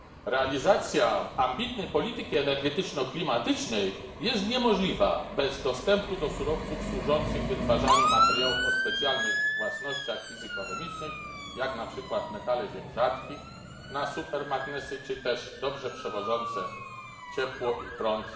Realizacja ambitnej polityki energetyczno klimatycznej jest niemożliwa bez dostępu do surowców służących wytwarzaniu materiałów o specjalnych własnościach fizyko chemicznych, jak na przykład metale ziem rzadkich na supermagnesy, czy też miedź, dobrze przewodząca ciepło i prąd.